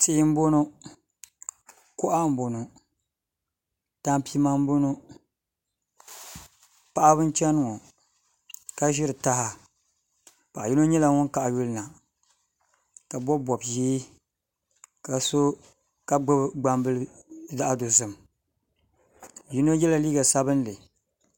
Tihi n boŋo kuɣa n boŋo tampima n boŋo paɣaba n chɛni ŋo ka ʒiri taha paɣa yino nyɛla ŋun kaɣa yulina ka bob bob ʒiɛ ka gbubi gbambili zaɣ dozim yino yɛla liiga sabinli